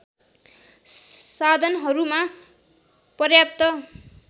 साधनहरूमा पर्याप्त